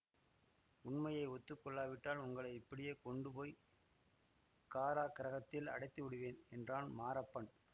உண்மையை ஒத்து கொள்ளாவிட்டால் உங்களை இப்படியே கொண்டு போய் காராகிரகத்தில் அடைத்துவிடுவேன் என்றான் மாரப்பன்